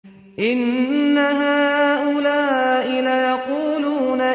إِنَّ هَٰؤُلَاءِ لَيَقُولُونَ